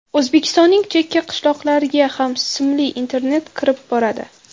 O‘zbekistonning chekka qishloqlarga ham simli internet kirib boradi.